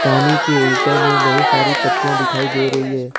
पानी के ऊपर में बहुत सारी पत्तियां दिखाई दे रही है।